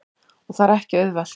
Og það er ekki auðvelt.